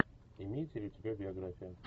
имеется ли у тебя биография